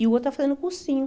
E o outro está fazendo cursinho.